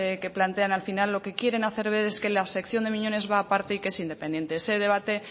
que plantean al final lo que quieren hacer ver es que la sección de miñones va aparte y que es independiente ese debate